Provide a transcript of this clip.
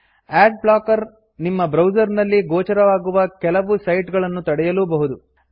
add blocker ನಿಮ್ಮ browser ನಲ್ಲಿ ಗೋಚರವಾಗುವ ಕೆಲವು ಸೈಟ್ ಗಳನ್ನು ತಡೆಯಲೂಬಹುದು